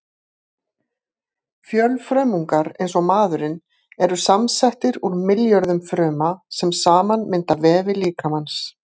Fjölfrumungar eins og maðurinn eru samsettir úr milljörðum fruma, sem saman mynda vefi líkamans.